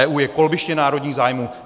EU je kolbiště národních zájmů.